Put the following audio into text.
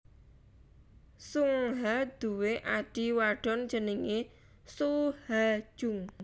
Sung Ha duwé adhi wadon jenengé Soo Ha Jung